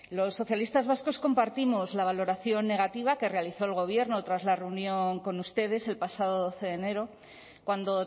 los socialistas vascos compartimos la valoración negativa que realizó el gobierno tras la reunión con ustedes el pasado doce de enero cuando